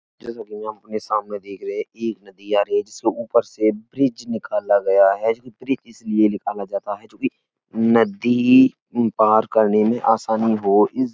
जैसे कि हम अपने सामने देख रहे हैं। एक नदी आ रही है। जिसके ऊपर से ब्रिज निकाला गया है। ये ब्रिज इसलिए निकाला जाता है जो कि नदी पार करने में आसानी हो इस --